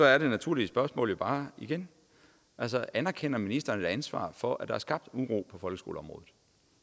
er det naturlige spørgsmål jo bare igen anerkender ministeren et ansvar for at der er skabt uro på folkeskoleområdet